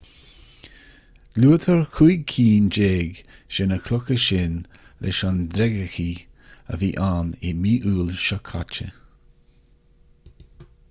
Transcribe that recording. luaitear cúig cinn déag de na clocha sin leis an dreigechith a bhí ann i mí iúil seo caite